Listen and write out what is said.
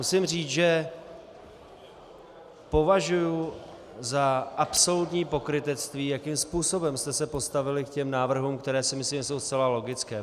Musím říct, že považuji za absolutní pokrytectví, jakým způsobem jste se postavili k těm návrhům, které si myslím, že jsou zcela logické.